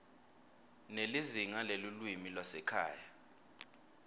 nelizingaa lelulwimi lwasekhaya